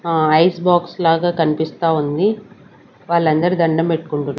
ఆ ice box లాగా కన్పిస్తా ఉంది వాళ్ళందరూ దండం పెట్కుంటున్నా--